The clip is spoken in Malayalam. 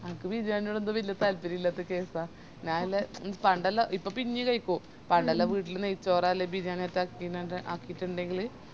എനക്ക് ബിരിയാനിന്നോടെന്തോ വെല്യ താൽപ്പര്യയില്ലാത്ത case ആണ് ഞാൻ ഇല്ലേ ഇ പണ്ടെല്ലോ ഇപ്പൊ പിന്നേം കൈക്കു പണ്ടെല്ലോ വീട്ടില് നെയ്‌ച്ചോർ അല്ലെ ബിരിയാണിയറ്റാം ആക്കിറ്റിന്ടെങ്ങിൽ